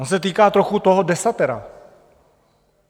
On se týká trochu toho desatera.